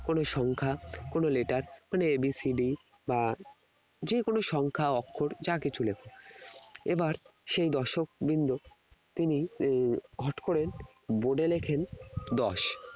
কোন সংখ্যা কোন letter মানে a b c d বা যে কোন সংখ্যা অক্ষর যা কিছু লেখ এবার সেই দর্শকবৃন্দ তিনি আহ হঠাৎ করে board লেখেন দশ